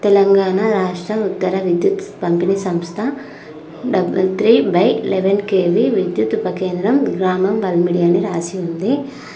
తెలంగాణ రాష్ట్ర ఉత్తర విద్యుత్ పంపిణి సంస్థ double three by eleven KV విద్యుత్ ఉప కేంద్రం గ్రామం వల్మిడి అని రాసి ఉంది.